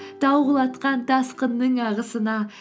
тау құлатқан тасқынның ағысына